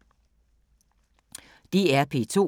DR P2